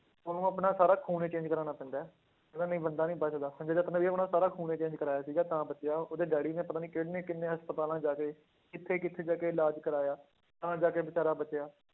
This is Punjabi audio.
ਉਹਨੂੰ ਆਪਣਾ ਸਾਰਾ ਖ਼ੂਨ ਹੀ change ਕਰਵਾਉਣਾ ਪੈਂਦਾ ਹੈ, ਕਹਿੰਦਾ ਨਹੀਂ ਬੰਦਾ ਨਹੀਂ ਬਚਦਾ ਸੰਜੇ ਦੱਤ ਨੇ ਵੀ ਆਪਣਾ ਸਾਰਾ ਖ਼ੂਨ ਹੀ change ਕਰਵਾਇਆ ਸੀਗਾ ਤਾਂ ਬਚਿਆ ਉਹ ਉਹਦੇ ਡੈਡੀ ਨੇ ਪਤਾ ਨੀ ਕਿੰਨੇ ਕਿੰਨੇ ਹਸਪਤਾਲਾਂ 'ਚ ਜਾ ਕੇ ਕਿੱਥੇ ਕਿੱਥੇ ਜਾ ਕੇ ਇਲਾਜ ਕਰਵਾਇਆ, ਤਾਂ ਜਾ ਕੇ ਬੇਚਾਰਾ ਬਚਿਆ,